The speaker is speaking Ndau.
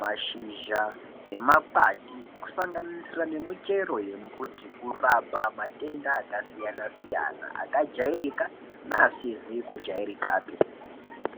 mashizha nemakwati kusanganisira nemichero yembuti kurapa matenda akasiyana-siyana, akajairika neasizi kujairikapi.